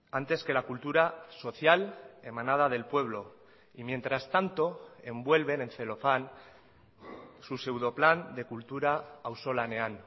antes que la cultura social emanada del pueblo y mientras tanto envuelven en celofán su pseudo plan de kultura auzolanean